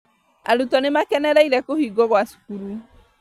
Arutwo nĩmakenereire kũhingwo gwa cukuru